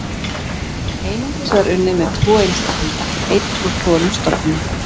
Einungis var unnið með tvo einstaklinga, einn úr hvorum stofni.